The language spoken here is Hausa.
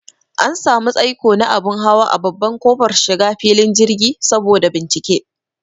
An samu tsaiko na abun hawa a babban kofar shiga filin jirgi saboda bincike